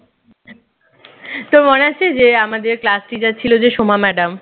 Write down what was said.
তোর মনে আছে যে আমাদের class teacher ছিল যে সোমা madam